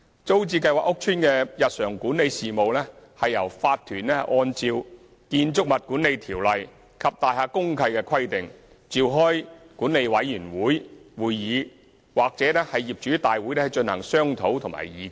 租置計劃屋邨的日常管理事務由業主立案法團按照《建築物管理條例》及大廈公契的規定，召開管理委員會會議或業主大會進行商討及議決。